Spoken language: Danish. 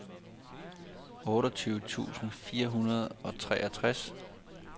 otteogtyve tusind fire hundrede og treogtres